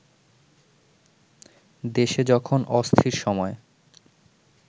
দেশে যখন অস্থির সময়